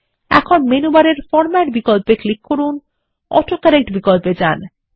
এখন মেনু বারের ফরমেট বিকল্প ক্লিক করুন অটো কারেক্ট বিকল্পে যান